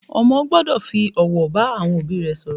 Ọmọ gbọ́dọ̀ fi ọ̀wọ̀ bá àwọn òbí rẹ̀ sọ̀rọ̀